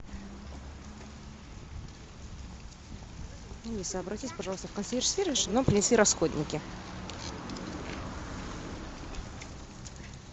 алиса обратись пожалуйста в консьерж сервис чтобы нам принесли расходники